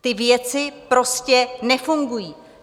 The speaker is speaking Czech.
Ty věci prostě nefungují.